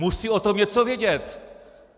Musí o tom něco vědět.